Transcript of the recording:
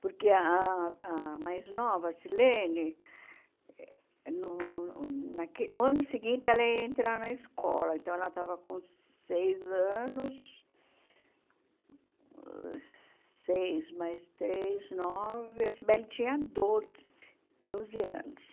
Porque ah a mais nova, a Silene, no no naque no ano seguinte ela ia entrar na escola, então ela estava com seis anos, seis mais três, nove, a Sibeli tinha doze, doze anos.